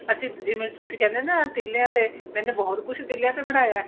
ਅਸੀਂ ਜਿਵੇਂ ਤੁਸੀਂ ਕਹਿੰਦੇ ਹੋ ਨਾ ਤੀਲੀਆਂ ਤੇ ਮੈਨੇ ਬਹੁਤ ਕੁੱਛ ਤੀਲੀਆਂ ਤੇ ਬਣਾਇਆ